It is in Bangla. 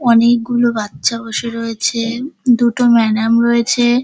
অনেকগুলো বাচ্চা বসে রয়েছে-এ দুটো ম্যাডাম রয়েছে।